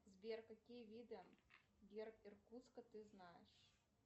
сбер какие виды герб иркутска ты знаешь